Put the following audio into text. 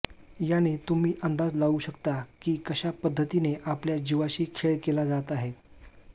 याने तुम्ही अंदाज लावू शकता की कशा पद्धतीने आपल्या जीवाशी खेळ केला जात आहे